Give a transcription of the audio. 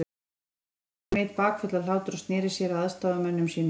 Nú tók Johnny Mate bakföll af hlátri og sneri sér að aðstoðarmönnum sínum.